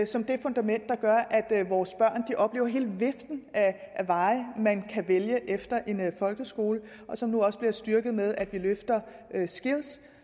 som det fundament der gør at vores børn oplever hele viften af veje man kan vælge efter en folkeskole og som nu også bliver styrket af at vi løfter skills